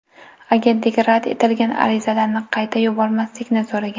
Agentlik rad etilgan arizalarni qayta yubormaslikni so‘ragan.